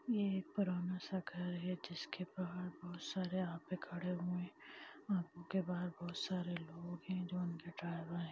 ये एक पुराना शखा है जिसके बाहर बहुत सारे आदमी खड़े हुए है ऑटो के बाहर बहुत सारे लोग है जो उनके ड्राइवर है।